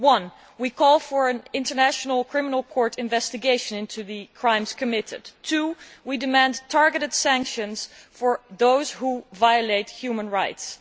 Firstly, we must call for an international criminal court investigation into the crimes committed and, secondly, we must demand targeted sanctions for those who violate human rights.